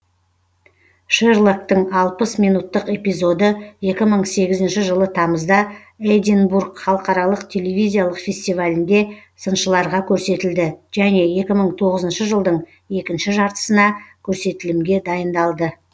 шерлоктың алпыс минуттық эпизоды екі мың сегізінші жылы тамызда эдинбург халықаралық телевизиялық фестивалінде сыншыларға көрсетілді және екі мың тоғызыншы жылдың екінші жартысына көрсетілімге дайындалды